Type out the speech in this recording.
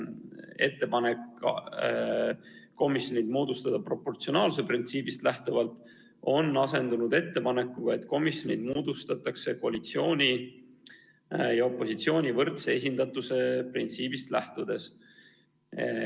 Ettepanek moodustada komisjon proportsionaalsuse printsiibist lähtuvalt on asendunud ettepanekuga, et komisjonid moodustatakse koalitsiooni ja opositsiooni võrdse esindatuse printsiibist lähtudes.